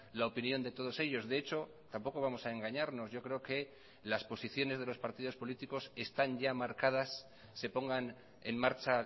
la opinión de todos ellos de hecho tampoco vamos a engañarnos yo creo que las posiciones de los partidos políticos están ya marcadas se pongan en marcha